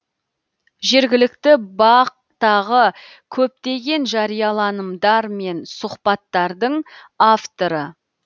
жергілікті бақ тағы көптеген жарияланымдар мен сұхбаттардың авторы